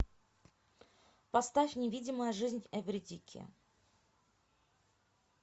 поставь невидимая жизнь эвридики